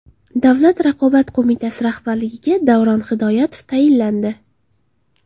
Davlat raqobat qo‘mitasi rahbarligiga Davron Hidoyatov tayinlandi.